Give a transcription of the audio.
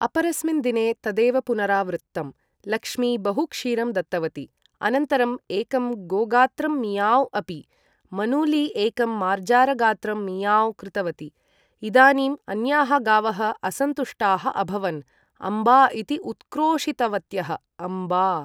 अपरस्मिन् दिने, तदेव पुनरावृत्तम्। लक्ष्मी बहु क्षीरं दत्तवती। अनन्तरं एकं गोगात्रं 'मियाव्ँ' अपि। मनूली एकं मार्जारगात्रं 'मियाव्ँ' कृतवती। इदानीं अन्याः गावः असन्तुष्टाः अभवन्। अम्बा इति उत्क्रोशितवत्यः। अम्बा!